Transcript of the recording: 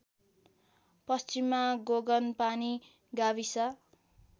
पश्चिममा गोगनपानी गाविस